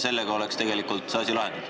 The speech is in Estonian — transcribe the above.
Sellega oleks see asi lahendatud.